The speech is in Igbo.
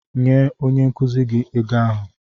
Nye onye nkuzi gị ego ahụ.